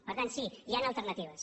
per tant sí hi han alternatives